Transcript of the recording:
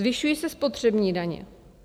Zvyšují se spotřební daně.